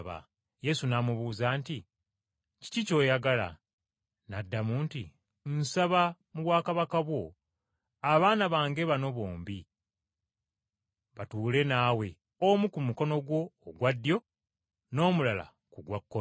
Yesu n’amubuuza nti, “Kiki ky’oyagala?” N’addamu nti, “Nsaba, mu bwakabaka bwo, abaana bange bano bombi batuule naawe omu ku mukono gwo ogwa ddyo n’omulala ku gwa kkono.”